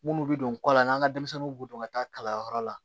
Minnu bɛ don kɔ la n'an ka denmisɛnninw b'u don ka taa kalanyɔrɔ la